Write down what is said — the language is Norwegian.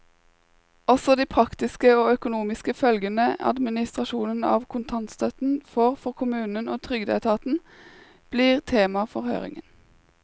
Også de praktiske og økonomiske følgene administrasjonen av kontantstøtten får for kommunene og trygdeetaten, blir tema for høringen.